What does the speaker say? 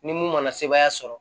Ni mun mana sebaaya sɔrɔ